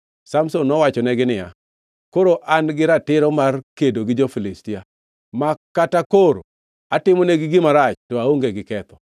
Samson nowachonegi niya, “Koro an-gi ratiro mar kedo gi jo-Filistia; ma kata koro atimonegi marach to aonge gi ketho.”